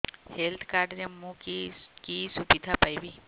health card ରେ ମୁଁ କି କି ସୁବିଧା ପାଇବି